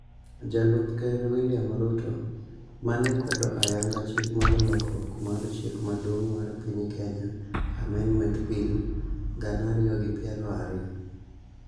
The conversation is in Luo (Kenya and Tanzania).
Jalup Ker William Ruto, mane kwedo ayanga chik mar Lokruok mar Chik Maduong' mar piny Kenya, (Amendment) Bill, gana ariyi gi piero ariyo